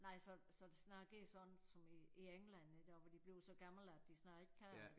Nej så så det snart går sådan som i i England der hvor de bliver så gamle at de snart ikke kan